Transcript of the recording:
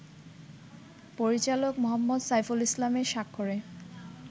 পরিচালক মো. সাইফুল ইসলামের স্বাক্ষরে